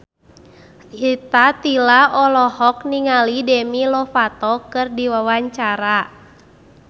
Rita Tila olohok ningali Demi Lovato keur diwawancara